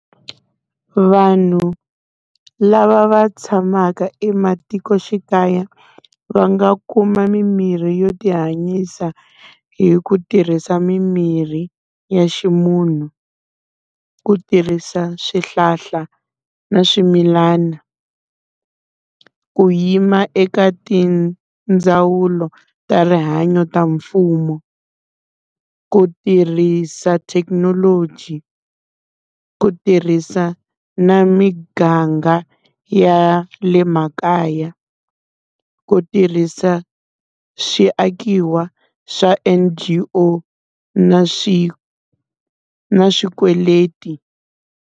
Vanhu lava va tshamaka ematikoxikaya va nga kuma mimirhi yo ti hanyisa hi ku tirhisa mimirhi ya ximunhu. Ku tirhisa swihlahla na swimilana, ku yima eka tindzawulo ta rihanyo ta mfumo. Ku tirhisa thekinoloji, ku tirhisa na miganga ya le makaya. Ku tirhisa swiakiwa swa N_G_O, na na swikweleti.